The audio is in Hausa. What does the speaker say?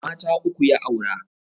Mata uku ya aura